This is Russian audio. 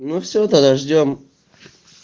ну все тогда ждём